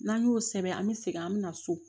N'an y'o sɛbɛn an be segin an be na so